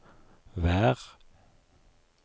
vær